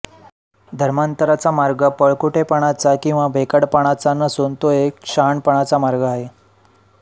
धर्मांतराचा मार्ग पळपुटेपणाचा किंवा भेकडपणाचा नसून तो एक शहाणपणाचा मार्ग आहे